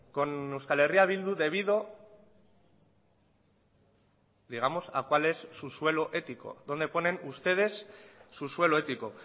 con euskal herria bildu debido digamos a cuál es su suelo ético dónde ponen ustedes su suelo ético